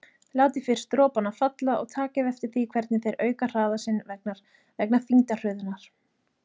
Látið fyrst dropana falla og takið eftir því hvernig þeir auka hraða sinn vegna þyngdarhröðunar.